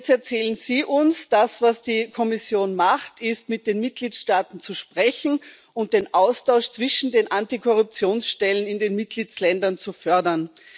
Und jetzt erzählen Sie uns Das, was die Kommission macht, ist, mit den Mitgliedstaaten zu sprechen und den Austausch zwischen den Antikorruptionsstellen in den Mitgliedstaaten zu fördern.